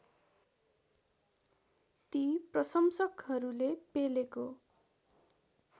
ती प्रशंसकहरूले पेलेको